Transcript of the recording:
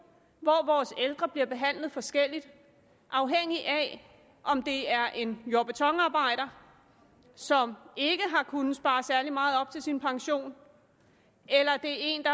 hvor vores ældre bliver behandlet forskelligt afhængigt af om det er en jord og betonarbejder som ikke har kunnet spare særlig meget op til sin pension eller det er en